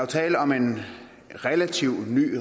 tale om en relativt ny